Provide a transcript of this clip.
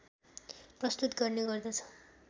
प्रस्तुत गर्ने गर्दछ